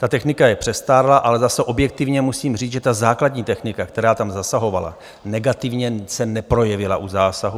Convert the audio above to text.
Ta technika je přestárlá, ale zase objektivně musím říct, že ta základní technika, která tam zasahovala, negativně se neprojevila u zásahu.